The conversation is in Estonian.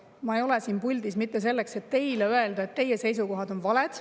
Ma ei ole siin puldis selleks, et teile öelda, et teie seisukohad on valed.